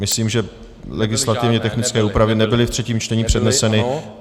Myslím, že legislativně technické úpravy nebyly v třetím čtení předneseny.